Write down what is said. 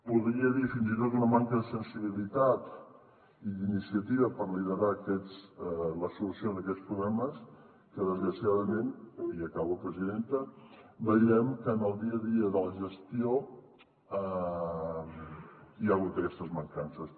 podria dir fins i tot una manca de sensibilitat i d’iniciativa per liderar la solució d’aquests problemes en que desgraciadament i acabo presidenta veiem que en el dia a dia de la gestió hi ha hagut aquestes mancances